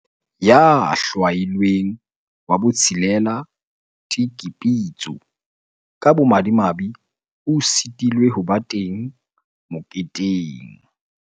Ya hlwailweng wa botshelela, Tiki Pitso, ka bomadimabe o sitilwe ho ba teng moketeng.